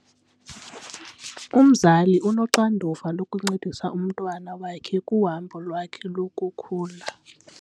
Umzali unoxanduva lokuncedisa umntwana wakhe kuhambo lwakhe lokukhula.